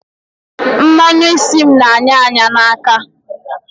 Mmanu isi m n'anya anya n'aka